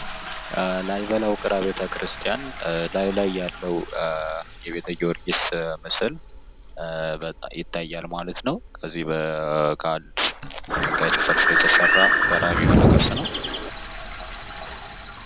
ላሊበላ ውቅር አብያተ ክርስቲያን ላሊበላ ያለው የቤተ ጊዮርጊስ ምስል ይታያል ማለት ነው ከዚህ በፊት ከአንድ ድንጋይ ተፈልፍሎ የተሰራ ገራሚ የሆነ ቅርስ ነው።